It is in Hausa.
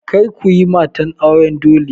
Kar kuyi mata auran dole!